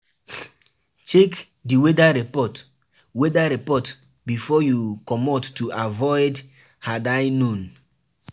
Read news about di place wey you wan go go holiday to know weda e dey safe